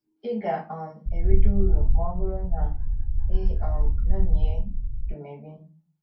Ị ga um - erite uru ma ọ bụrụ na i um ṅomie Dumebi.